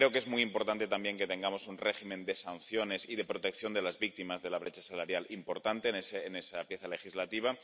Creo que es muy importante también que tengamos un régimen de sanciones y de protección de las víctimas de la brecha salarial importante en esa pieza legislativa.